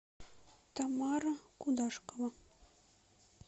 тамара кудашкова